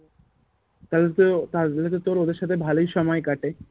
তাহলে তো তাহলেতো তোর ওদের সাথে ভালোই সময় কাটে